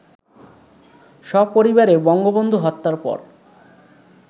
সপরিবারে বঙ্গবন্ধু হত্যার পর